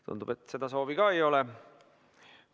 Tundub, et seda soovi ka ei ole.